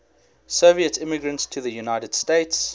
soviet immigrants to the united states